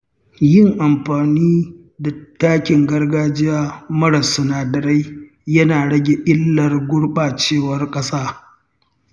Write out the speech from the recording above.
Yin amfani da takin gargajiya marar sinadarai yana rage illar gurɓacewar ƙasa.